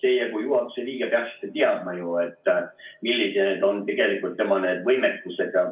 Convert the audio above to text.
Teie kui juhatuse liige peaksite ju teadma, millised on tegelikult tema võimekused.